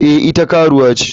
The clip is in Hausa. Eh ita karuwa ce.